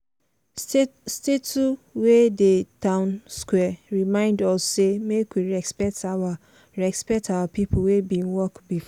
statue wey dey town square remind us say make we respect our respect our people wey bin work before.